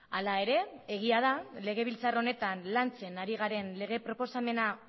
hala ere egia da legebiltzar honetan lantzen ari garen lege proposamena